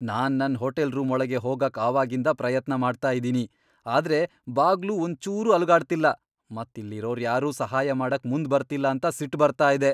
ನಾನ್ ನನ್ hotel room ಒಳ್ಗೆ ಹೋಗಕ್ ಅವಾಗಿಂದ್ ಪ್ರಯತ್ನ ಮಾಡ್ತಾ ಇದ್ದೀನಿ, ಆದ್ರೆ ಬಾಗ್ಲು ಒಂದ್ ಚೂರೂ ಅಲುಗಾಡ್ತಿಲ್ಲ, ಮತ್ ಇಲ್ಲಿ ಇರೋರ್ ಯಾರೂ ಸಹಾಯ ಮಾಡಕ್ ಮುಂದ್ ಬರ್ತಿಲ್ಲ ಅಂತ ಸಿಟ್ ಬರ್ತಾ ಇದೆ.